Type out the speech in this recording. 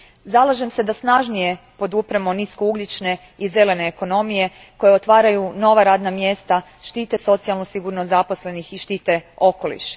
Zalažem se da snažnije podupremo niskougljične i zelene ekonomije koje otvaraju nova radna mjesta, štite socijalnu sigurnost zaposlenih i štite okoliš.